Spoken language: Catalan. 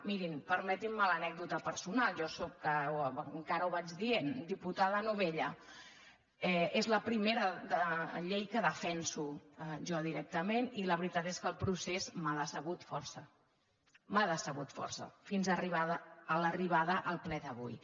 mirin permetin·me l’anècdota personal jo sóc en·cara ho vaig dient diputada novella és la primera llei que defenso jo directament i la veritat és que el procés m’ha decebut força m’ha decebut força fins a arri·bar a al ple d’avui